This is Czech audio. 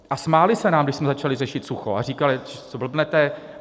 A smáli se nám, když jsme začali řešit sucho, a říkali: co blbnete?